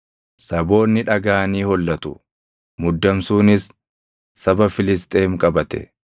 Saboonni dhagaʼanii hollatu; muddamsuunis saba Filisxeem qabate.